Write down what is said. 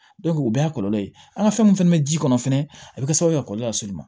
o bɛɛ y'a kɔlɔlɔ ye an ka fɛn min fɛnɛ bɛ ji kɔnɔ fɛnɛ a bɛ kɛ sababu ye ka kɔlɔlɔ las'i ma